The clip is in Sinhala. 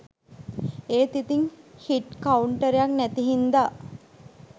ඒත් ඉතින් හිට් කවුන්ටරයක් නැති හින්ද